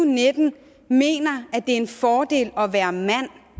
og nitten mener at det en fordel at være mand